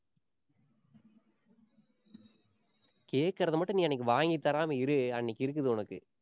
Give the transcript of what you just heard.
கேக்கறதை மட்டும் நீ அன்னைக்கி வாங்கி தராம இரு அன்னைக்கு இருக்குது உனக்கு.